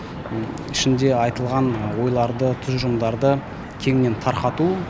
ішінде айтылған ойларды тұжырымдарды кеңінен тарқату